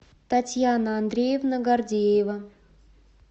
татьяна андреевна гордеева